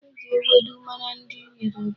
E ji ewedu mara ndị Yoruba.